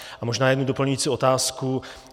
A možná jednu doplňující otázku.